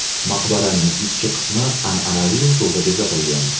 Maqbaraning ichki qismi an’anaviy usulda bezatilgan.